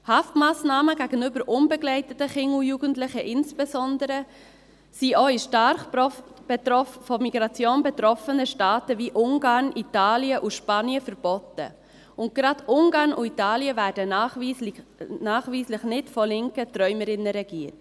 Haftmassnahmen gegenüber unbegleiteten Kindern und Jugendlichen sind insbesondere auch in stark von Migration betroffenen Staaten wie Ungarn, Italien und Spanien verboten, und gerade Ungarn und Italien werden nachweislich nicht von linken Träumerinnen regiert.